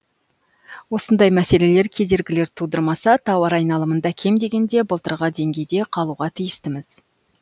осындай мәселелер кедергілер тудырмаса тауар айналымында кем дегенде былтырғы деңгейде қалуға тіистіміз